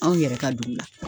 Anw yɛrɛ ka dugu la.